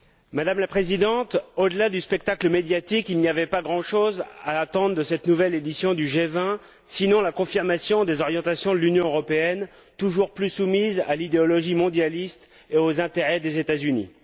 Madame la Présidente, au delà du spectacle médiatique, il n'y avait pas grand chose à attendre de cette nouvelle édition du G20, sinon la confirmation des orientations de l'Union européenne toujours plus soumise à l'idéologie mondialiste et aux intérêts des États Unis.